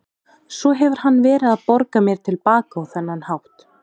Svo hefur hann verið að borga mér til baka á þennan hátt.